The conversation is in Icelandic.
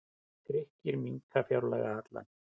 Grikkir minnka fjárlagahallann